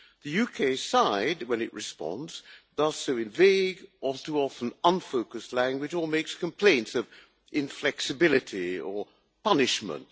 The UK side, when it responds, does so in vague all too often unfocused language or makes complaints of inflexibility or punishment.